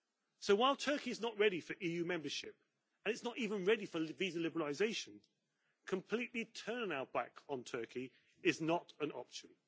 So, while Turkey is not ready for EU membership and it is not even ready for visa liberalisation completely turning our back on Turkey is not an option.